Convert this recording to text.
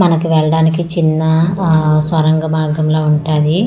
మనకు వెళ్ళడానికి చిన్న ఆ స్వరంగా మార్గం లా ఉంటాది .]